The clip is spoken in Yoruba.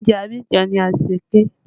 Oúnjẹ Abidjan ni anṣẹ̀kẹ́